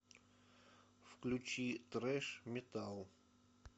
включи трэш метал